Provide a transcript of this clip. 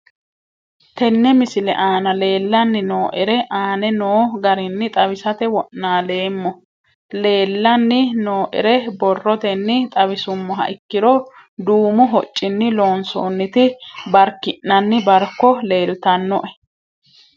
Tene misile aana leelanni nooerre aane noo garinni xawisate wonaaleemmo. Leelanni nooerre borrotenni xawisummoha ikkiro duumu hocinni loosonitti barkinanni barko leelitanoe.